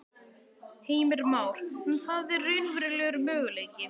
Heimir Már: En það er raunverulegur möguleiki?